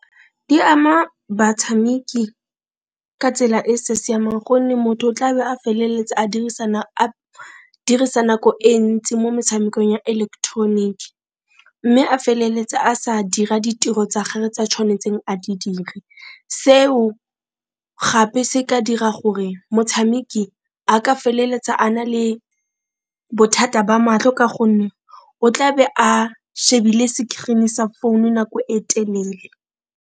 Di ama batshameki ka tsela e sa siamang gonne motho o tlabe a feleletse a dirisa nako e ntsi mo metshamekong ya eleketeroniki, mme a feleletsa a sa dira ditiro tsa gage tse a tshwanetseng a di dire. Seo gape se ka dira gore motshameki a ka feleletsa a na le bothata ba matlho ka gonne o tlabe a shebile sekirini sa phone nako e telele.